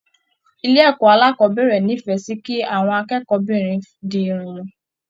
Ilé ẹkọ alákọ̀bẹ̀rẹ̀ n'ifẹ sí kí àwọn akẹ́kọ̀ọ́-binrin di Irun wọn.